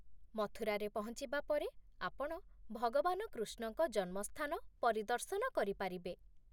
ମଥୁରାରେ ପହଞ୍ଚିବା ପରେ ଆପଣ ଭଗବାନ କୃଷ୍ଣଙ୍କ ଜନ୍ମସ୍ଥାନ ପରିଦର୍ଶନ କରିପାରିବେ।